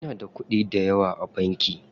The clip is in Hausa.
Inada kuɗi dayawa a banki.